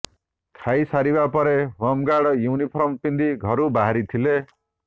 ଖାଇ ସାରିବା ପରେ ହୋମ୍ଗାର୍ଡ ୟୁନିଫର୍ମ ପିନ୍ଧି ଘରୁ ବାହାରିଥିଲେ